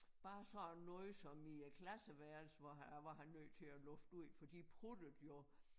Bare sådan noget som i æ klasseværelse hvor han der var han nødt til at lufte ud for de pruttede jo